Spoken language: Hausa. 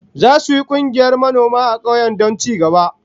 Zasu yi kungiyar manoma a kauyen don ci gaba